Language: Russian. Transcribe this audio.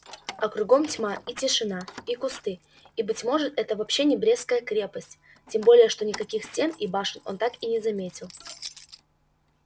а кругом тьма и тишина и кусты и быть может это вообще не брестская крепость тем более что никаких стен и башен он так и не заметил